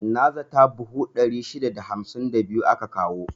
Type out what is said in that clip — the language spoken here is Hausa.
Na zata buhu 652 aka kawo.